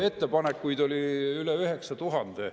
Ettepanekuid oli üle 9000.